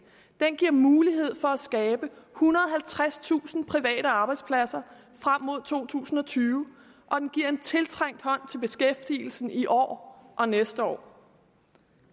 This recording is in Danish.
den giver mulighed for at skabe ethundrede og halvtredstusind private arbejdspladser frem mod to tusind og tyve og den giver en tiltrængt hånd til beskæftigelsen i år og næste år